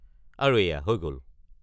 আৰু এইয়া হৈ গ'ল?